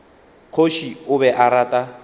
kgoši o be a rata